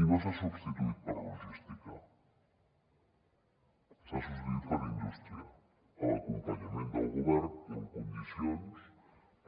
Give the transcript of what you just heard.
i no s’ha substituït per logística s’ha substituït per indústria amb l’acompanyament del govern i en condicions